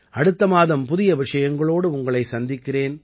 அடுத்த மாதம் புதிய விஷயங்களோடு உங்களை சந்திக்கிறேன்